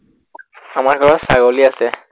আমাৰ ঘৰত ছাগলী আছে।